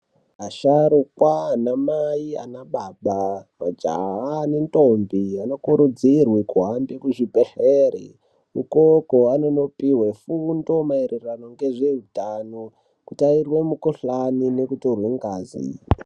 Asharukwa anamai anababa majaha nendombi anokurudzirwe kuhambe kuzvibhehlera ikoko anonopuwe fundo maererano ngezveutano kuti aerwemukhuhlani nekutorwe ngazi.